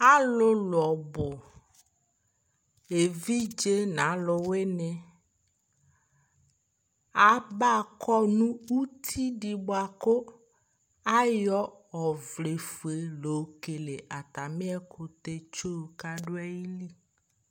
Alʊlʊ ɔbʊ evidze nʊ aluwini abakɔ nʊ ʊtɩdɩ bʊakʊ ayɔ ɔvlɛfue yɔkele atamɩ ɛkʊtɛtso kadʊ ayɩlɩ